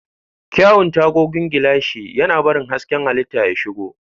Kyawun tagogin gilashi, yana barin hasken halitta ya shigo.